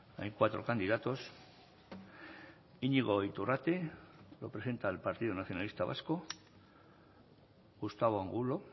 hay cuatro candidatos iñigo iturrate lo presenta el partido nacionalista vasco gustavo angulo